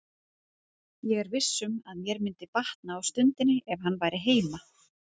Ég er viss um að mér myndi batna á stundinni ef hann væri heima.